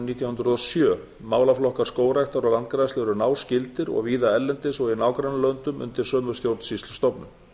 nítján hundruð og sjö málaflokkar skógræktar og landgræðslu eru náskyldir og víða erlendis og í nágrannalöndum undir sömu stjórnsýslustofnun